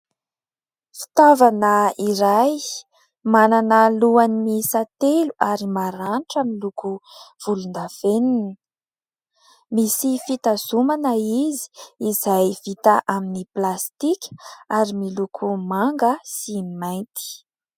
Fitaoavana iray, manana lohany miisa telo ary maranitra miloko volon-davenona. Misy fitazomana izy, izay vita amin'ny plastika izay miloko manga sy mainty.